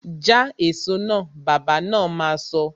Ja èso náà! Bàbá na ma sọ